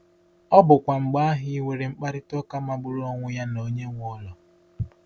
Ọ bụkwa mgbe ahụ i nwere mkparịta ụka magburu onwe ya na onye nwe ụlọ.